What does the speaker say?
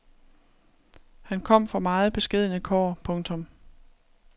Han kom fra meget beskedne kår. punktum